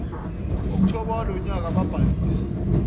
okthobha walonyaka ababhalise